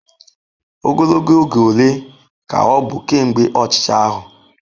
Ogologo oge ole ka ọ bụ kemgbe ọchịchị ahụ?